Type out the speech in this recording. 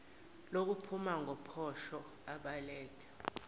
lokuphuma ngopotsho abaleke